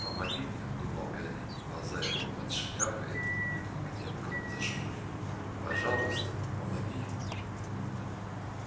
помоги мне думал гарри глаза его под шляпой были крепко зажмурены пожалуйста помоги